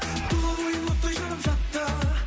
тұла бойым оттай жанып жатты